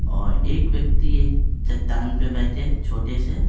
और एक व्यक्ति एक चट्टान पे बैठे छोटे से --